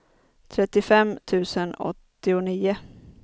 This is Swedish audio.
trettiofem tusen åttionio